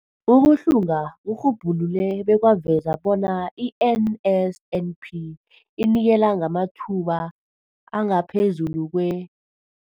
Ukuhlunga kurhubhulule bekwaveza bona i-NSNP inikela ngamathuba angaphezulu kwe-